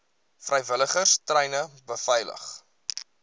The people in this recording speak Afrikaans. vrywilligers treine beveilig